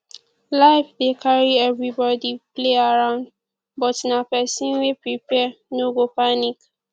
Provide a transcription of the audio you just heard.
life dey carry everybody play around but na pesin wey prepare no go panic